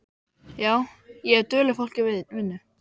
Já, ég hef duglegt fólk í vinnu.